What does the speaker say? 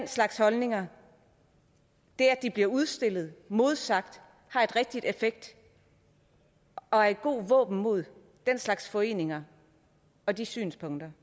slags holdninger bliver udstillet og modsagt har en rigtig effekt og er et godt våben mod den slags foreninger og de synspunkter